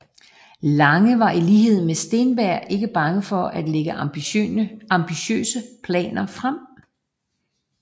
Lange var i lighed med Steenberg ikke bange for at lægge ambitiøse planer frem